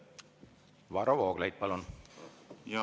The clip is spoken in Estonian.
Varro Vooglaid, palun!